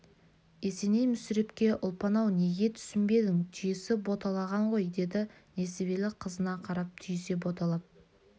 есеней мүсірепке ұлпан-ау неге түсінбедің түйесі боталаған ғой деді несібелі қызына қарап түйесі боталап